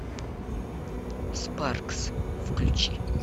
спаркс включи